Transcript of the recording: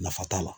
Nafa t'a la